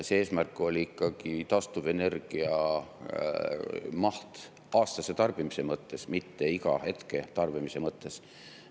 Eesmärk oli ikkagi taastuvenergia maht aastase tarbimise mõttes, mitte iga hetke tarbimise mõttes.